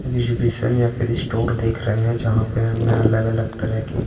exhibition या फिर store देख रहे हैं जहाँ पे हमें अलग-अलग तरह की--